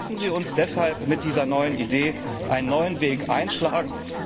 Lassen Sie uns deshalb mit dieser neuen Idee einen neuen Weg einschlagen!